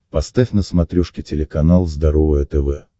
поставь на смотрешке телеканал здоровое тв